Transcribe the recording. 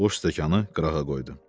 Boş stəkanı qırağa qoydu.